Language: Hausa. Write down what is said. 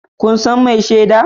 Kun san mai shaida?